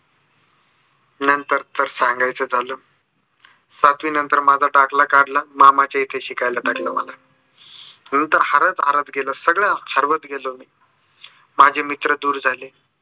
नंतर तर सांगायचं झालं सातवी नंतर माझा दाखला काढला मामाच्या इथे शिकायला टाकलं मला. नंतर हरत हरत गेलो सर्वच हरत गेलो. माझे मित्र दूर झाले.